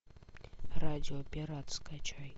радио пират скачай